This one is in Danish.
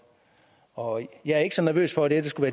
og jeg er ikke så nervøs for at det her skulle